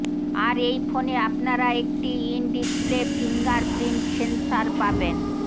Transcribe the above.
আর এই ফোনে আপনারা একটি ইন ডিসপ্লে ফিঙ্গারপ্রিন্ট সেন্সার পাবেন